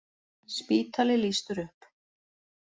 Spítali lýstur upp